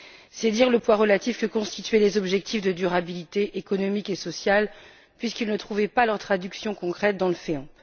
C'est dire le poids relatif que constituaient les objectifs de durabilité économique et sociale, puisqu'ils ne trouvaient pas leur traduction concrète dans le FEAMP.